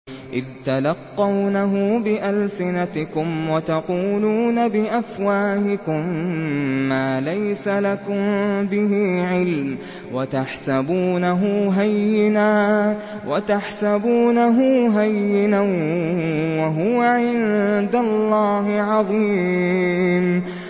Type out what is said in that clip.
إِذْ تَلَقَّوْنَهُ بِأَلْسِنَتِكُمْ وَتَقُولُونَ بِأَفْوَاهِكُم مَّا لَيْسَ لَكُم بِهِ عِلْمٌ وَتَحْسَبُونَهُ هَيِّنًا وَهُوَ عِندَ اللَّهِ عَظِيمٌ